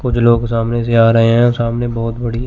कुछ लोग सामने से आ रहे है सामने बहोत बड़ी--